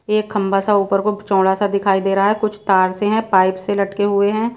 एक खंभा सा ऊपर को चौड़ा सा दिखाई दे रहा है कुछ तार से हैं पाइप से लटके हुए हैं।